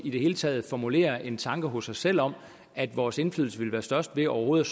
i det hele taget formulere en tanke hos os selv om at vores indflydelse ville være størst ved overhovedet